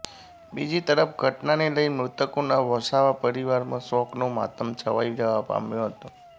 બીજી તરફ ઘટનાને લઈ મૃતકોના વસાવા પરિવારમાં શોકનો માતમ છવાઈ જવા પામ્યો હતો